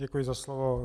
Děkuji za slovo.